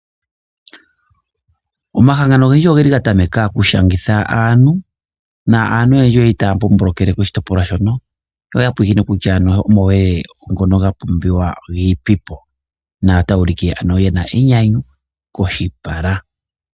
Omahangano ogendji oge li ga tameka okushangitha aantu naantu oyendji oye li taya mbomboloele koshitopolwa hono yo ya pulakene kutya omauyelele ngono ga pumbiwa gi ipi po notaya ulike ye na enyanyu koshipala.